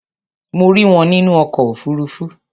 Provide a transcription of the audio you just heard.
Mo rí wọn nínú ọkọ̀ òfuruufú.